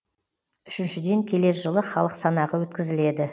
үшіншіден келер жылы халық санағы өткізіледі